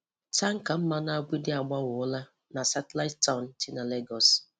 Tanka mmanụ agbịdị agbawọla na Satellite Town dị na Lagos.